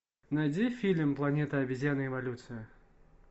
найди фильм планета обезьян революция